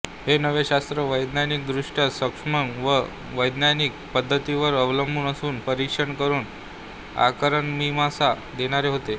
हे नवे शास्त्र वैज्ञानिकदृष्ट्या सक्षम व वैज्ञानिक पद्धतीवरच अवलंबून असून परीक्षण करून कारणमीमांसा देणारे होते